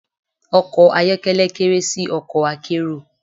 Ọkọ̀ ayọ́kẹ́lẹ́ kéré sí ọkọ̀ akérò.